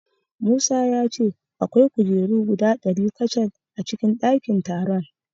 Musa ya ce akwai kujeru guda ɗari kacal a cikin ɗakin taron.